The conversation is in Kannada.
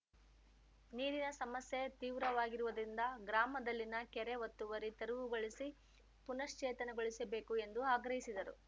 ನೀರಿನ ಸಮಸ್ಯೆ ತೀವ್ರವಾಗಿರುವುದರಿಂದ ಗ್ರಾಮದಲ್ಲಿನ ಕೆರೆ ಒತ್ತುವರಿ ತೆರವುಗೊಳಿಸಿ ಪುನಶ್ಚೇತನಗೊಳಿಸಬೇಕು ಎಂದು ಆಗ್ರಹಿಸಿದರು